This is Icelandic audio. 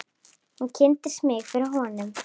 Hún kynnti mig fyrir honum.